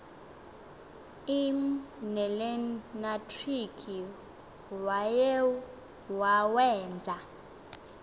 l nelenatriki wawenza